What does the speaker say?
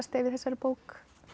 í þessari bók